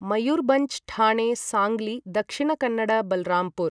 Mayurbhanj Thane Sangli Dakshina Kannada Balrampur